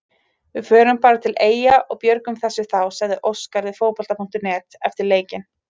Við förum bara til Eyja og björgum þessu þá, sagði Óskar við Fótbolta.net eftir leikinn.